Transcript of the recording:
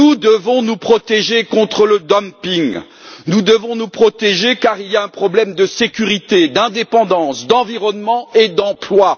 Nous devons nous protéger contre le dumping, nous devons nous protéger car il y a un problème de sécurité, d'indépendance, d'environnement et d'emplois.